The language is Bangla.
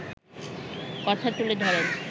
কথা তুলে ধরেন